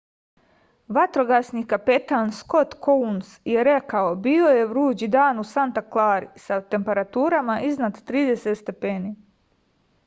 vatrogasni kapetan skot kouns je rekao bio je vruć dan u santa klari sa temperaturama iznad 30 stepeni